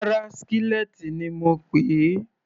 Rárá, skillet ni mo pèé.